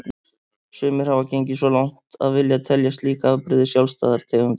Sumir hafa gengið svo langt að vilja telja slík afbrigði sjálfstæðar tegundir.